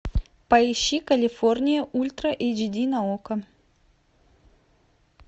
поищи калифорния ультра эйч ди на окко